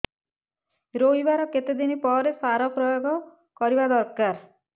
ରୋଈବା ର କେତେ ଦିନ ପରେ ସାର ପ୍ରୋୟାଗ କରିବା ଦରକାର